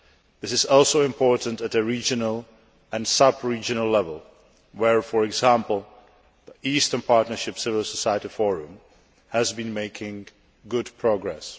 This is also important at a regional and sub regional level where, for example, the Eastern Partnership Civil Society Forum has been making good progress.